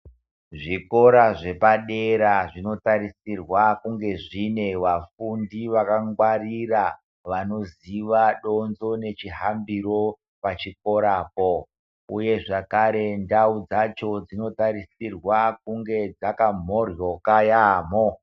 Zvikora zvepadera zvinotarisirwa kunge zvine vafundi vakangwarira vanoziva donzvo nechihambire pachikorapo uye zvakarepo ndau dzacho dzinotarisirwa kunge dzakabhohloka yamoo .